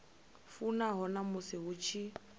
fanaho na musi hu tshi